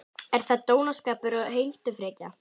Er það dónaskapur og heimtufrekja?